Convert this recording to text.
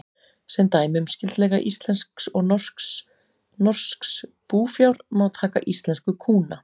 Sem dæmi um skyldleika íslensks og norsks búfjár má taka íslensku kúna.